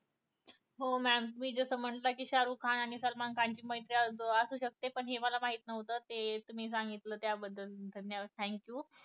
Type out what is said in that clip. हो मॅम तुम्ही जस म्हटल कि शारुख खान आणि सलमान खान ची मैत्री असू सकते हे मला माहित नव्हते हे तुम्ही सांगितल्याबद्दल तुमचे धन्यवाद Thank you